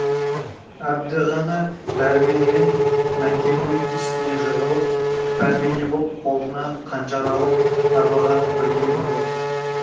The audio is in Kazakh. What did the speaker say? әбді ғана дәрмен мен мәкеннің үстіне жығылып пәрмене боп қолына қанжар алып арбаға бірге мінді